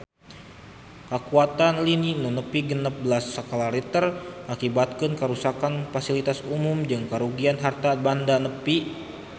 Kakuatan lini nu nepi genep belas skala Richter ngakibatkeun karuksakan pasilitas umum jeung karugian harta banda nepi ka 5 miliar rupiah